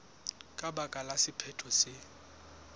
ka baka la sephetho se